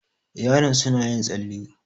yaron suna yin tsalle